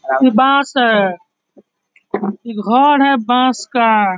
इ बाँस है इ घर है बाँस का ।